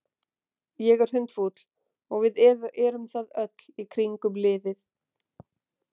Ég er hundfúll og við erum það öll í kringum liðið.